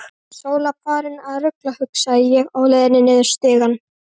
Sóla farin að rugla, hugsaði ég á leiðinni niður stigann.